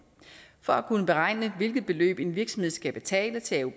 for at kunne beregne hvilket beløb en virksomhed skal betale til